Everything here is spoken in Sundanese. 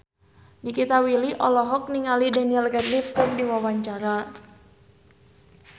Nikita Willy olohok ningali Daniel Radcliffe keur diwawancara